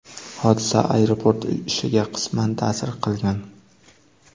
Hodisa aeroport ishiga qisman ta’sir qilgan.